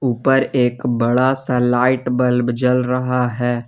ऊपर एक बड़ा सा लाइट बल्ब जल रहा हैं।